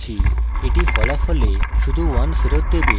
এটি ফলাফলে শুধু 1 ফেরৎ দেবে